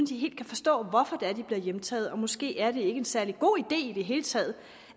de helt kan forstå hvorfor det er de bliver hjemtaget og måske er det ikke en særlig god idé i det hele taget